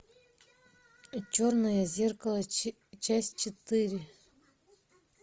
черное зеркало часть четыре